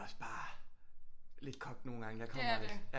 Også bare lidt kogt nogle gange jeg kommer der